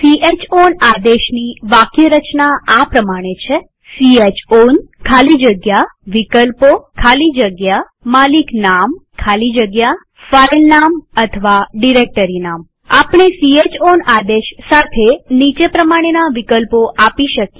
chown આદેશની વાક્યરચના આ પ્રમાણે છે160 ચાઉન ખાલી જગ્યા વિકલ્પો ખાલી જગ્યા માલિકનામ ખાલી જગ્યા ફાઈલનામ અથવા ડિરેક્ટરીનામ આપણે ચાઉન આદેશ સાથે નીચે પ્રમાણેના વિકલ્પો આપી શકીએ